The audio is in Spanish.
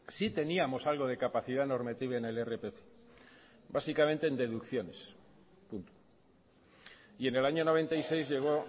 sí teníamos algo de capacidad normativa en el irpf básicamente en deducciones punto y en el año mil novecientos noventa y seis llegó